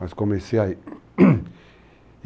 Mas comecei aí.